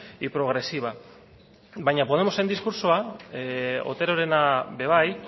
y progresiva baina podemosen diskurtsoa oterorena be bai